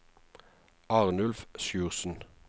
Arnulf Sjursen